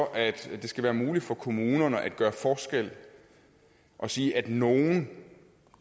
at det skal være muligt for kommunerne at gøre forskel og sige at nogle